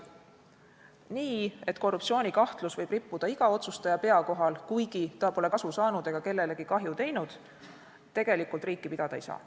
Nii, et korruptsioonikahtlus võib rippuda iga otsustaja pea kohal, kuigi ta pole kasu saanud ega kellelegi kahju teinud, tegelikult riiki pidada ei saa.